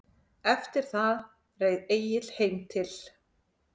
Eftir það reið Egill heim til